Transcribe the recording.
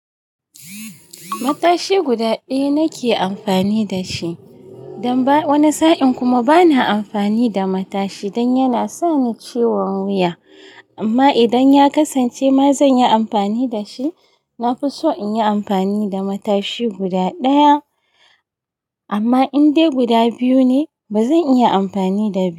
Matashi guda ɗaya nake amfani da shi, don ba wani sa'in kuma bana amfani da matashi don yana sa ni ciwon wuya. Amma idan ya kasance ma zan yi amfani da shi. Na fi so in yi amfani da matashi guda ɗaya, amma in dai guda biyu ne ba zan iya amfani da biyu.